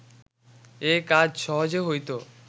এ কাজ সহজে হইত